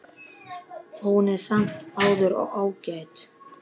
Hún er samt sem áður ágæt.